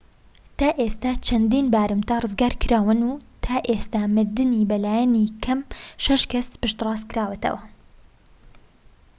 تا ئێستا چەندین بارمتە ڕزگارکراون و تا ئێستا مردنی بە لایەنی کەم شەش کەس پشتڕاستکراوەتەوە